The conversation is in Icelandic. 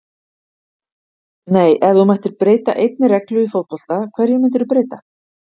nei Ef þú mættir breyta einni reglu í fótbolta, hverju myndir þú breyta?